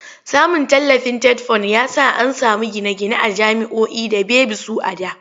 Samun tallafin TETFUND ya sa an samu gine-gine a jami'oi da baby su a da.